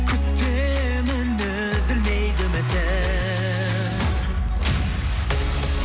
күтемін үзілмейді үмітім